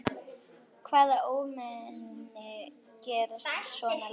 Hvaða ómenni gera svona lagað?